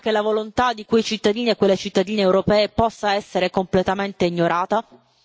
Pensa che la volontà di quelle cittadine e di quei cittadini europei possa essere completamente ignorata?